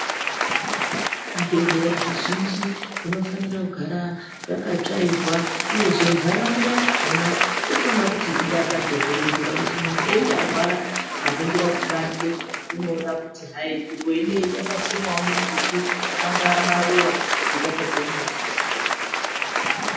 Zvibhedhleya zvizhinji zvinofanira kugara zvakatsvairwa uyezve ndaraunda yakona inofana kuti idakadze kuita kuti muntu einyarwara akaningira kubanze unoona kuti hai nzvimbo ineyi yakasimwawo mumbuti angava maruwa zvinodakadzewo madziso.